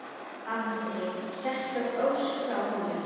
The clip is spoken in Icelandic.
Andri: Sérstök ósk frá honum?